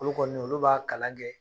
Olu kɔni olu b'a kalan kɛ